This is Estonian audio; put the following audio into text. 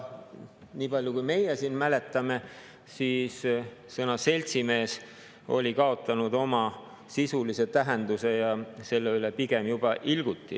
Niipalju kui meie siin mäletame, siis sõna "seltsimees" oli kaotanud oma sisulise tähenduse ja selle üle pigem juba ilguti.